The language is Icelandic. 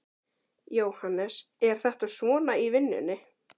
Jóhannes: Er þetta svona í vinnunni?